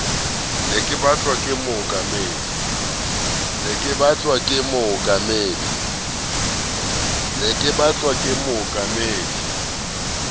ne o batlwa ke mookamedi